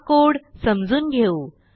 हा कोड समजून घेऊ